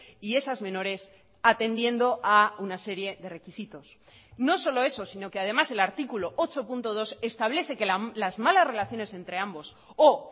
y esas menores atendiendo a una serie de requisitos no solo eso sino que además el artículo ocho punto dos establece que las malas relaciones entre ambos o